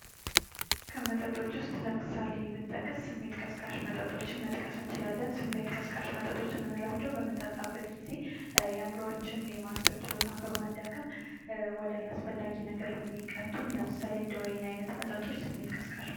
2. ቡና : ከተጠበሰና ከተፈጨ የቡና ፍሬ ተፈልቶ የሚጠጣ መራራና መዓዛ ያለው ትኩስ መጠጥ። በተለይ በኢትዮጵያ ትልቅ ባህላዊና ማህበራዊ ቦታ አለው። በተለያየ መንገድ (እንደ ጅብና ቡና፣ እስፕሬሶ፣ ማኪያቶ) ሊዘጋጅ ይችላል።